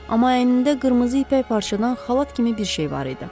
Amma əynində qırmızı ipək parçadan xalat kimi bir şey var idi.